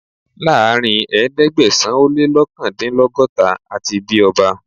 Láàárín ẹ̀ẹ́dẹ́gbẹ̀sán - o-lé-lọ́kàndínlọ́gọ́ta, a ti bí ọba